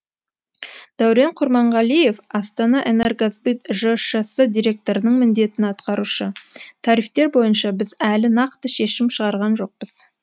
дәурен құрманғалиев астанаэнергосбыт жшс директорының міндетін атқарушы тарифтер бойынша біз әлі нақты шешім шығарған жоқпыз